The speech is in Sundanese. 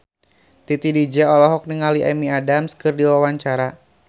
Titi DJ olohok ningali Amy Adams keur diwawancara